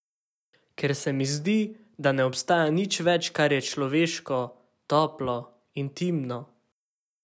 Ker se mi zdi, da ne obstaja nič več, kar je človeško, toplo, intimno.